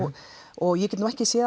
og ég get nú ekki